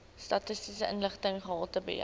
statistiese inligting gehaltebeheer